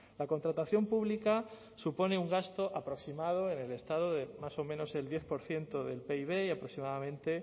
la contratación pública supone un gasto aproximado en el estado de más o menos el diez por ciento del pib y aproximadamente